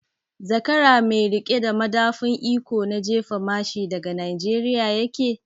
Zakara mai riƙe da madafun iko na jefa mashi daga Nijeriya yake?